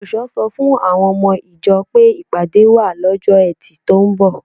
Olùṣọ́ sọ fún àwọn ọmọ ìjọ pé ìpàdé wà lọ́jọ́ Ẹtì tó ń bọ̀